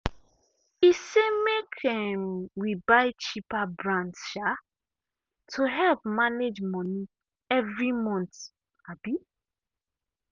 e say make um we buy cheaper brands um to help manage money every month. um